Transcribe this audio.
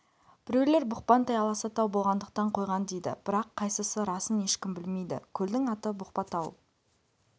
біреулер бұқпантай аласа тау болғандықтан қойған дейді бірақ қайсысы расын ешкім білмейді көлдің аты бұқпа тау